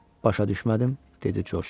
Başa düşmədim, dedi Corc.